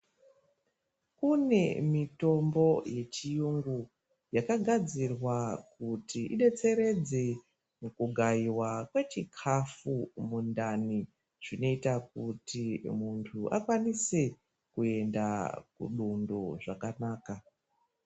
Kune mitombo yechiyungu yakagadzirwa kuti idetseredze mukugayiwa kwechikafu mundani zvinoita kuti muntu akwanise kuenda kudundo zvakanaka.